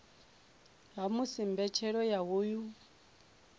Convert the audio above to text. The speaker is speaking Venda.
ha musi mbetshelo ya hoyu